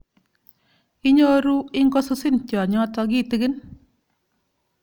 Inyoru ingosusin tyonyotok kitikin.